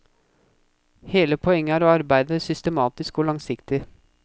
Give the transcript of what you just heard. Hele poenget er å arbeide systematisk og langsiktig.